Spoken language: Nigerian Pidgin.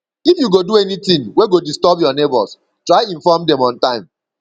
if you go do anything wey go disturb your neighbors try inform dem on time